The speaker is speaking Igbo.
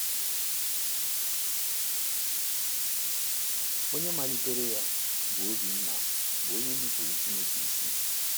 Onye malitere ya, bụ́ Obinna, bụ onye nupụụrụ Chineke isi.